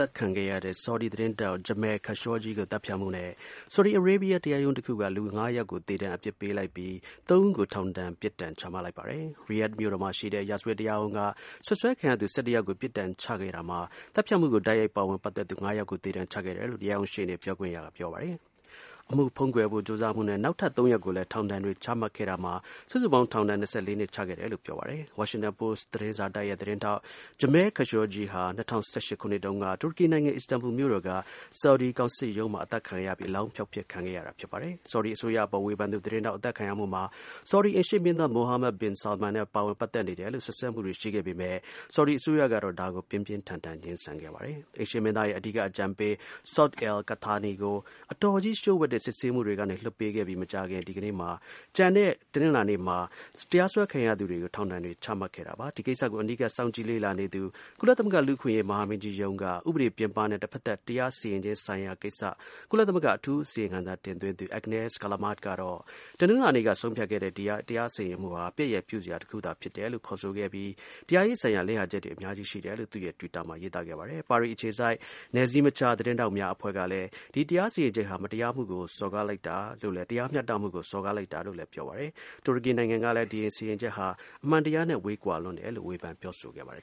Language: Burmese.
တ်ခံခဲ့ရတဲ့ သတင်းထောက် Jamal Khashoggi ကို သတ်ဖြတ်မှုနဲ့ Saudi Arabia တရားရုံးတခုက လူ ၅ ယောက်ကို သေဒဏ်အပြစ်ပေးလိုက်ပြီး ၃ ဦးကို ထောင်ဒဏ် ပြစ်ဒဏ် ချမှတ်လိုက်ပါတယ်။ Riyadh မြို့တော်မှာရှိတဲ့ ရာဇဝတ်တရားရုံးက စွပ်စွဲခံရသူ ၁၁ ယောက်ကို ပြစ်ဒဏ်ချခဲ့တာမှာ၊ သတ်ဖြတ်မှုကို တိုက်ရိုက်ပတ်သက်သူ ၅ ယောက်ကို သေဒဏ်ချခဲ့တယ်လို့ တရားရုံးရှေ့နေ ပြောခွင့်ရသူကပြောပါတယ်။ အမှုဖုံးကွယ်ဖို့ကြိုးစားမှုနဲ့ နောက်ထပ် ၃ ယောက်ကိုလည်း ထောင်ဒဏ်တွေချခဲ့တာမှာ စုစုပေါင်း ထောင်ဒဏ် ၂၄ နှစ်ချခဲ့တယ်လို့ ပြောပါတယ်။ Washington Post သတင်းစာတိုက်ရဲ့ သတင်းထောက် Jamal Khashoggi ဟာ ၂၀၁၈ ခုနှစ်တုန်းက တူရကီနိုင်ငံ Istanbul မြို့တော်က Saudi ကောင်စစ်ရုံးထဲမှာ အသတ်ခံရပြီး အလောင်းဖျောက်ဖျက် ခံရတာဖြစ်ပါတယ်။ Saudi အစိုးရအပေါ် ဝေဖန်သူသတင်းထောက် အသတ်ခံရမှုမှာ Saudi အိမ်ရှေ့မင်းသား Mohammed bin Salman နဲ့ပတ်သက်နေတယ်လို့ စွပ်စွဲမှုတွေရှိခဲ့ပေမဲ့ Saudi အစိုးရကတော့ ဒါကို ပြင်းပြင်းထန်ထန် ငြင်းဆန်ခဲ့ပါတယ်။ အိမ်ရှေ့မင်းသားရဲ့အဓိက အကြံပေး Saud al-Qahtani ကို အတော်ကြီးလှို့ဝှက်တဲ့ စစ်ဆေးမှုတွေကနေ လွှတ်ပေးခဲ့ပြီး တနင်္လာနေ့မှာ ကျန်တဲ့ တရားစွဲခံရသူတွေကို ထောင်ဒဏ်တွေ ချခဲ့တာဖြစ်ပါတယ်။ ဒီကိစ္စကို အနီးကပ် စောင့်ကြည့်လေ့လာနေသူ ကုလသမဂ္ဂ လူ့အခွင့်အရေး မဟာမင်းကြီး ရုံးက ဥပဒေပြင်ပနဲ့ တဖက်သတ် တရားစီရင်ခြင်း ဆိုင်ရာ ကိစ္စ ကုလသမဂ္ဂ အထူး အစီရင်ခံစာ တင်သွင်းသူ Agnes Callamard ကတော့ ဒီ တရားစီရင်မှုဟာ ပြက်ရယ်ပြုစရာ တစ်ခုသာ ဖြစ်တယ်လို့ ခေါ်ဆိုခဲ့ပြီး တရားရေးဆိုင်ရာ လစ်ဟာချက်တွေ အများကြီး ရှိတယ်လို့ သူ့ရဲ့ တွစ်တာမှာ ရေးသားခဲ့ပါတယ်။ ပါရီ အခြေစိုက် နယ်စည်းမခြား သတင်းထောက်များ အဖွဲ့က ဒီ တရားစီရင်ချက်ဟာ တရားမျှတမှုကို စော်ကားလိုက်တာပဲလို့လည်း ပြောပါတယ်။ တူရကီနိုင်ငံကလည်း ဒီ စီရင်ချက်ဟာ အမှန်တရားနဲ့ ဝေးကွာလွန်းတယ်လို့ ဝေဖန် ပြောဆိုခဲ့ပါတယ်